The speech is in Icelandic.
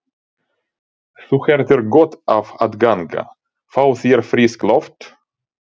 Þú hefðir gott af að ganga. fá þér frískt loft?